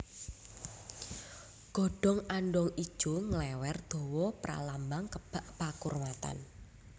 Godhong andhong ijo nglèwèr dawa pralambang kebak pakurmatan